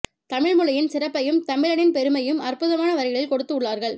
தமிழ் மொழியின் சிறப்பையும் தமிழனின் பெருமையும் அற்புதமான வரிகளில் கொடுத்து உள்ளார்கள்